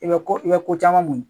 I bɛ ko i bɛ ko caman muɲu.